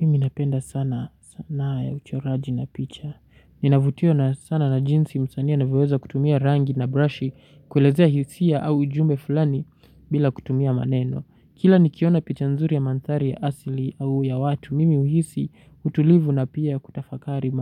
Mimi napenda sana sanaa ya uchoraji na picha. Ninavutio na sana na jinsi msani anavyoweza kutumia rangi na brushi kuelezea hisia au ujumbe fulani bila kutumia maneno. Kila ni kiona picha nzuri ya mandhari ya asili au ya watu, mimi uhisi utulivu na pia kutafakari